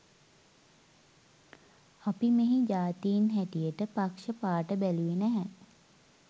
අපි මෙහි ජාතීන් හැටියට පක්ෂ පාට බැලුවේ නැහැ.